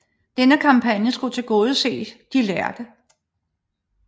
Denne kampagne skulle tilgodese de lærde